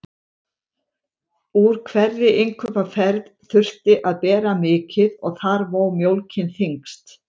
Úr hverri innkaupaferð þurfti að bera mikið og þar vó mjólkin þyngst.